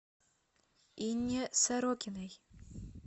инне сорокиной